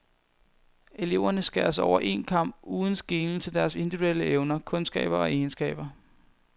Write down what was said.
Eleverne skæres over en kam uden skelen til deres individuelle evner, kundskaber og egenskaber.